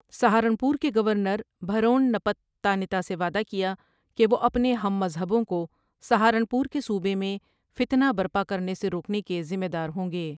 سہارنپور کے گورنر بھرون نپت تانیتا سے وعدہ کیا کہ وہ اپنے ہم مذہبوں کو سہارنپور کے صوبے میں فتنہ برپا کرنے سے روکنے کے ذمہ دار ہوں گے ۔